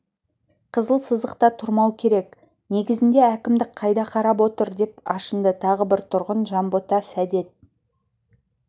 қызыл сызықта тұрмау керек негізінде әкімдік қайда қарап отыр деп ашынды тағы бір тұрғын жанбота сәдет